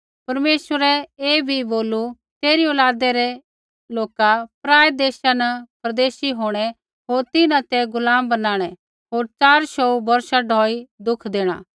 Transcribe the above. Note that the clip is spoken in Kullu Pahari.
परमेश्वरै ऐ बी बोलू तेरी औलादै रै लोका पराऐ देशा न परदेशी होंणै होर तिन्हां ते गुलाम बणाणै होर च़ार शौऊ बौर्षा ढौई दुख देणा